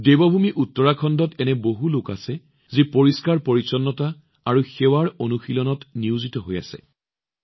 দেৱভূমি উত্তৰাখণ্ডৰ বহুতো লোক আছে যি পৰিষ্কাৰ পৰিচ্ছন্নতা আৰু সেৱাৰ অনুশীলনত নিয়োজিত হৈ আছে